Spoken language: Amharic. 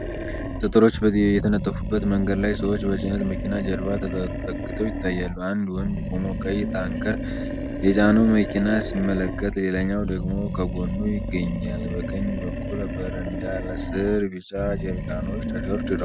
ጠጠሮች የተነጠፉበት መንገድ ላይ ሰዎች ከጭነት መኪና ጀርባ ተጠግተው ይታያሉ። አንድ ወንድ ቆሞ ቀይ ታንከር የጫነውን መኪና ሲመለከት፤ ሌላኛው ደግሞ ከጎኑ ይገኛል። በቀኝ በኩል በረንዳ ስር ቢጫ ጀሪካኖች ተደርድረዋል።